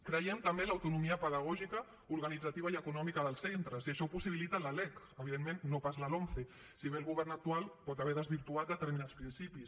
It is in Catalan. creiem també en l’autonomia pedagògica organitzativa i econòmica dels centres i això ho possibilita la lec evidentment no pas la lomce si bé el govern actual pot haver desvirtuat determinats principis